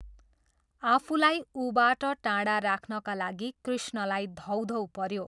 आफूलाई ऊबाट टाढा राख्नका लागि कृष्णलाई धौधौ पऱ्यो।